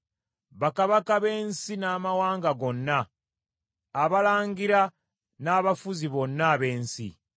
bakabaka b’ensi n’amawanga gonna, abalangira n’abafuzi bonna ab’ensi,